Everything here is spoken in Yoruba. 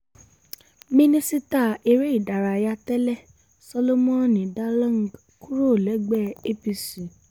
mínísítà eré ìdárayá tẹ́lẹ̀ solomon dalung kúrò lẹ́gbẹ́ apc